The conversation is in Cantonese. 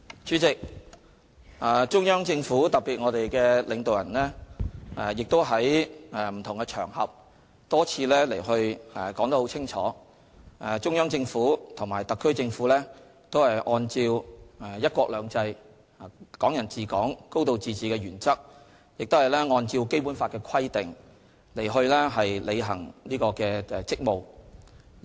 主席，中央政府特別是領導人在不同場合多次清楚表示，中央政府和特區政府均按照"一國兩制"，"港人治港"，"高度自治"的原則，亦按照《基本法》的規定履行職務。